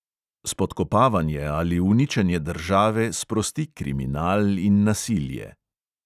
Spodkopavanje ali uničenje države sprosti kriminal in nasilje.